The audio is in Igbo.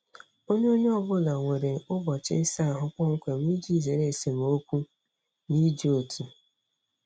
Onye Onye ọ bụla nwere ụbọchị ịsa ahụ kpọmkwem iji zere esemokwu n'iji otu.